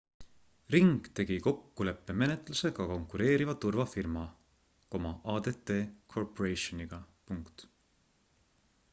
ring tegi kokkuleppemenetluse ka konkureeriva turvafirma adt corporationiga